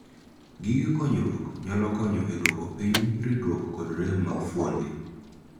Gige konyruok nyalo konyo e duoko piny ridruok kod rem mag fuonde.